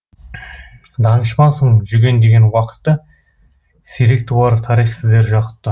данышпансың жүгендеген уақытты сирек туар тарих сіздей жақұтты